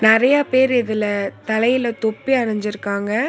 நறைய பேர் இதுல தலையில தொப்பி அணிஞ்சிருக்காங்க.